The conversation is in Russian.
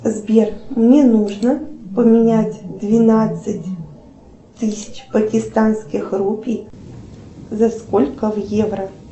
сбер мне нужно поменять двенадцать тысяч пакистанских рупий за сколько в евро